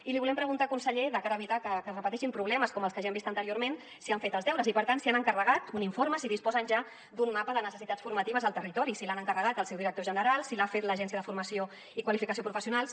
i li volem preguntar conseller de cara a evitar que es repeteixin problemes com els que ja hem vist anteriorment si han fet els deures i per tant si han encarregat un informe si disposen ja d’un mapa de necessitats formatives al territori si l’han encarregat al seu director general si l’ha fet l’agència de formació i qualificació professionals